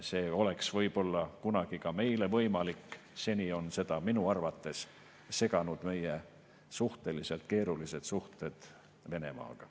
See oleks võib-olla kunagi ka meile võimalik, seni on seda minu arvates seganud meie suhteliselt keerulised suhted Venemaaga.